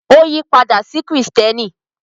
Ó yí padà sí Kìrìtẹ́ẹ́nì.